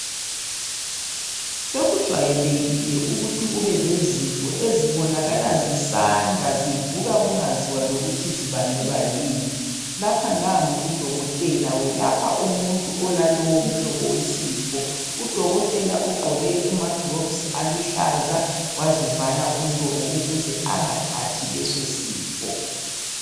Sokujwayelekile ukuthi kube lezifo ezibonakala zisanda zivuka kungaziwa lokuthi zibangelwa yini, lapha nangu udokotela welapha umuntu olalowo mhlobo wesifo, udokotela ugqoke amaglavisi aluhlaza wazivala umlomo ukuze engathathi leso sifo.